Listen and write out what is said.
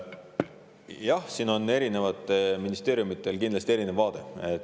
Jah, siin on erinevatel ministeeriumidel kindlasti erinev vaade.